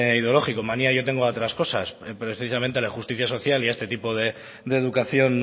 ideológico manía yo tengo a otras cosas pero precisamente a la justicia social y a este tipo de educación